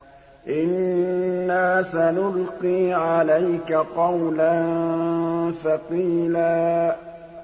إِنَّا سَنُلْقِي عَلَيْكَ قَوْلًا ثَقِيلًا